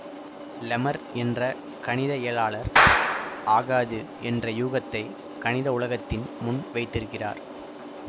லெமர் என்ற கணித இயலாளர் ஆகாது என்ற யூகத்தை கணித உலகத்தின் முன் வைத்திருக்கிறார்